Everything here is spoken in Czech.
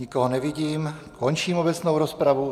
Nikoho nevidím, končím obecnou rozpravu.